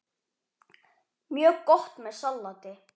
Mjög gott með salati.